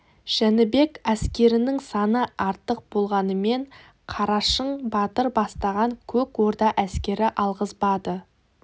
жәнібек әскерінің саны артық болғанымен қарашың батыр бастаған көк орда әскері алғызбады